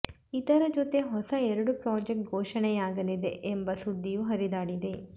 ಇದರ ಜೊತೆ ಹೊಸ ಎರಡು ಪ್ರಾಜೆಕ್ಟ್ ಘೋಷಣೆಯಾಗಲಿದೆ ಎಂಬ ಸುದ್ದಿಯೂ ಹರಿದಾಡಿದೆ